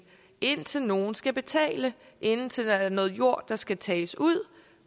indtil nogle skal betale indtil der er noget jord der skal tages ud